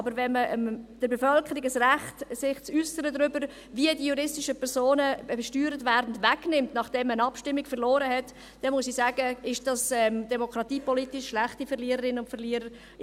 Aber wenn man der Bevölkerung ein Recht, sich darüber zu äussern, wie die juristischen Personen besteuert werden, wegnimmt, nachdem man eine Abstimmung verloren hat, dann, muss ich sagen, ist dies demokratiepolitisch schlechte Verliererinnen- und Verliererpolitik.